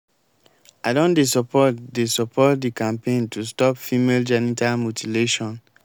i don dey support dey support di campaign to stop female genital mutilation.